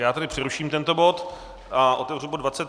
Já tedy přeruším tento bod a otevřu bod